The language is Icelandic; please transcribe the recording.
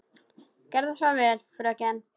Gerðu svo vel, fröken!